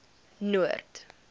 noord